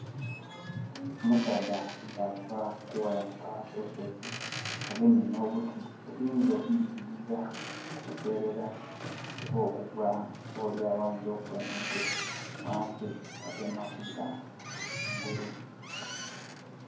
Omusaadha ava kuwalampa olusozi. Agemye no buti obuyinza okuziyiza okuserera oba okugwa oba olyawo ayinza no kukuba omutwe wansi ya dema kwira ghangulu